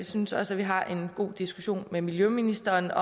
synes også at vi har en god diskussion med miljøministeren